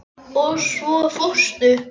Og svo fórstu.